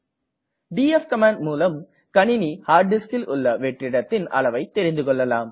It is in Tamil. டிஎஃப் கமாண்ட் மூலம் கணினி ஹார்ட் diskல் உள்ள வெற்றிடத்தின் அளவை தெரிந்துகொள்ளலாம்